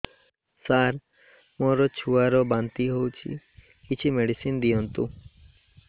ସାର ମୋର ଛୁଆ ର ବାନ୍ତି ହଉଚି କିଛି ମେଡିସିନ ଦିଅନ୍ତୁ